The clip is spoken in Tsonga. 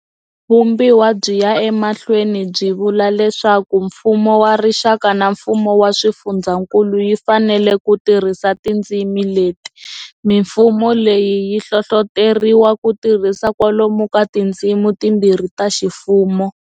Vumbiwa byi ya emahlweni byi vula leswaku mfumo wa rixaka na mfumo wa swifundzakulu yi fanele ku tirhisa tindzimi leti. Mifumo leyi yi hlohloteriwa ku tirhisa kwalomu ka tindzimi timbirhi ta ximfumo.